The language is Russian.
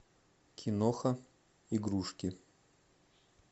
киноха игрушки